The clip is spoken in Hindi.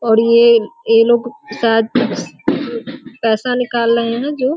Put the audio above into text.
और ये ये लोग शायद पैसे निकाल रहे है जो --